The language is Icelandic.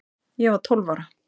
Ég var tólf ára